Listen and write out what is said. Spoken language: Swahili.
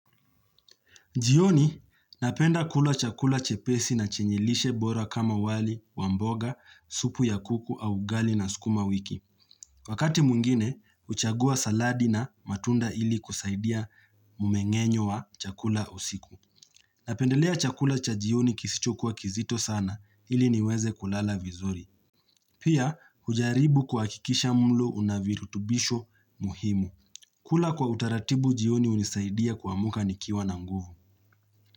Jioni, napenda kula chakula chepesi na chenye lishe bora kama wali wamboga, supu ya kuku au ugali na sukuma wiki. Wakati mungine, uchagua saladi na matunda ili kusaidia mumengenyo wa chakula usiku. Napendelea chakula cha jioni kisichokuwa kizito sana ili niweze kulala vizuri. Pia, ujaribu kuhakikisha mulu unavirutubisho muhimu. Kula kwa utaratibu jioni unisaidia kwa muka nikiwa na nguvu.